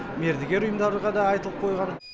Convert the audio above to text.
мердігер ұйымдарға да айтылып қойған